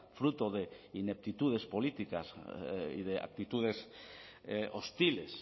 fruto de ineptitudes políticas y de actitudes hostiles